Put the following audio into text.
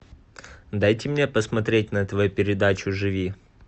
дайте мне посмотреть на тв передачу живи